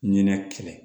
Ɲinɛ kɛlɛ